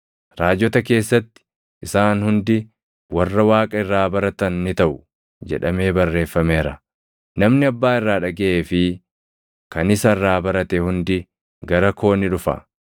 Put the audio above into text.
Raajota keessatti, ‘Isaan hundi warra Waaqa irraa baratan ni taʼu’ + 6:45 \+xt Isa 54:13\+xt* jedhamee barreeffameera. Namni Abbaa irraa dhagaʼee fi kan isa irraa barate hundi gara koo ni dhufa.